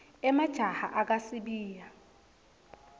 emajaha akha sibaya